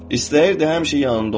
İstəyirdi həmişə yanında olum.